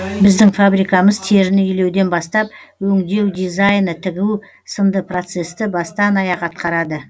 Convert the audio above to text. біздің фабрикамыз теріні илеуден бастап өңдеу дизайны тігу сынды процесті бастан аяқ атқарады